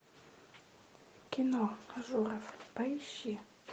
кино ажуров поищи